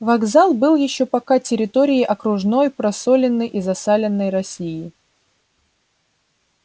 вокзал был ещё пока территорией окружной просоленной и засаленной россии